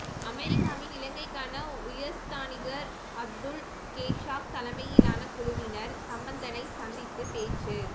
அமெரிக்காவின் இலங்கைக்கான உயர்ஸ்தானிகர் அத்துல் கேஷாப் தலமையிலான குழுவினர் சம்பந்தனை சந்தித்து பேச்சு